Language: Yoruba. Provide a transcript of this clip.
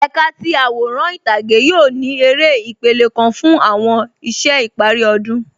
Ẹkà ti aworan itage yoo ni èrè ìpèlẹ̀ kan fun awọn iṣẹ̀ ìpari ọdun.